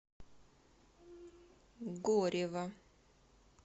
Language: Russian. горева